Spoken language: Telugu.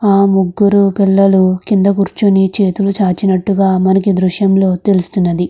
ఆ ముగ్గురు పిల్లలు కింద కూర్చుని చేతులు చాచినట్టుగా మనకి దృశ్యంలో తెలుస్తుంది.